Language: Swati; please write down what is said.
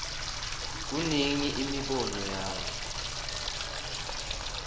kunika imibono yakhe